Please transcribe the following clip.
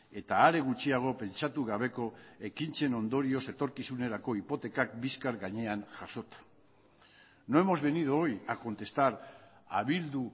eta are gutxiago pentsatu gabeko ekintzen ondorioz etorkizunerako hipotekak bizkar gainean jasota no hemos venido hoy a contestar a bildu